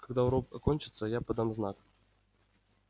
когда урок окончится я подам знак